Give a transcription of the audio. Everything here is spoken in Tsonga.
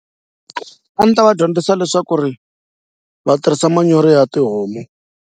A ni ta va dyondzisa leswaku ri va tirhisa manyoro ya tihomu.